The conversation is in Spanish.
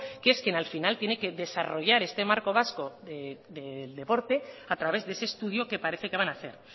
que es quien al final tiene que desarrollar este marco vasco del deporte a través de ese estudio que parece que van a hacer